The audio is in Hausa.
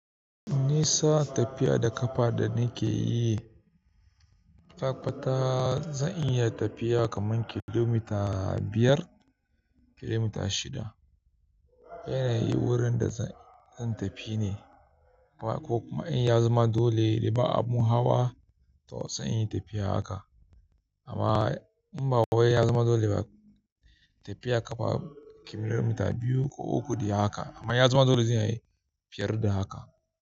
Nisa tafiya da ƙafa da nake yi ataƙaita zan iya tafiya kamar kilomita biyar, kilomita shida. Yana yin wurin da zan tafi ne ko kuma in ya zama dole ba abun hawa to sai inyi tafiya haka. Amma in ba wai ya zama dole ba, tafiya ƙafa kilomita biyu ko uku de haka amma in ya zama dole zan yi fiye da haka.